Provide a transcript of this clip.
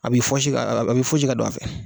A a bɛ i fosi ka don a fɛ